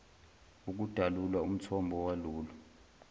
ukudalula umthombo walolu